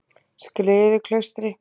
Skriðuklaustri